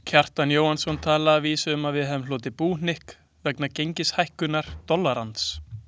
Kjartan Jóhannsson talaði að vísu um að við hefðum hlotið búhnykk vegna gengishækkunar dollarans.